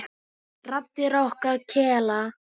Raddir okkar kela.